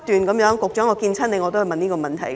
局長，我每次見你都問同一問題。